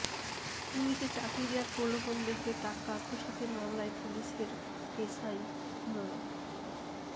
পুলিশে চাকরি দেয়ার প্রলোভন দেখিয়ে টাকা আত্মসাতের মামলায় পুলিশের এসআই মো